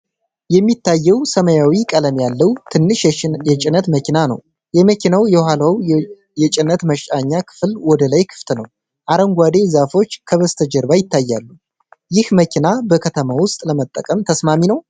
የሚታየው ሰማያዊ ቀለም ያለው ትንሽ የጭነት መኪና ነው። የመኪናው የኋላው የጭነት መጫኛ ክፍል ወደ ላይ ክፍት ነው። አረንጓዴ ዛፎች ከበስተጀርባ ይታያሉ። ይህ መኪና በከተማ ውስጥ ለመጠቀም ተስማሚ ነው?